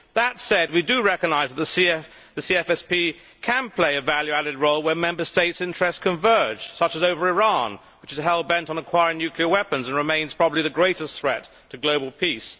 That said, we do recognise that the CFSP can play a value added role where Member States' interests converge, such as over Iran, which is hell bent on acquiring nuclear weapons and remains probably the greatest threat to global peace.